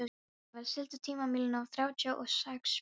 Daníval, stilltu tímamælinn á þrjátíu og sex mínútur.